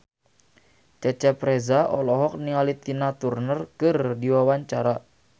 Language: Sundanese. Cecep Reza olohok ningali Tina Turner keur diwawancara